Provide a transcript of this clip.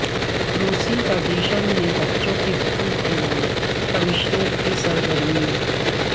روسی فیڈریشن میں بچوں کے حقوق کے لئے کمشنر کی سرگرمیوں